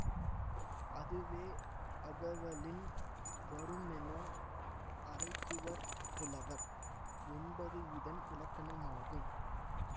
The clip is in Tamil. அதுவே அகவலின் வருமென அறைகுவர் புலவர் என்பது இதன் இலக்கணமாகும்